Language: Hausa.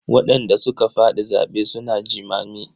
Waɗanda suka faɗi zaɓe suna jimami.